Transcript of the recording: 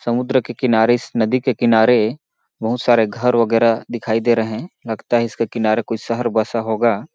समुन्द्र के किनारे इस नदी के किनारे बहुत सारे घर -वग़ैरा दिखाई दे रहे है लगता है इसके किनारे कोई शहर बसा होगा।